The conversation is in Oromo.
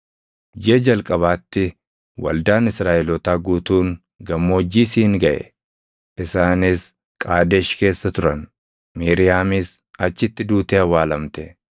Jiʼa jalqabaatti waldaan Israaʼelootaa guutuun Gammoojjii Siin gaʼe; isaanis Qaadesh keessa turan. Miiriyaamis achitti duutee awwaalamte.